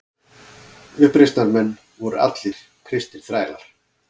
Uppreisnarmenn voru allir kristnir þrælar.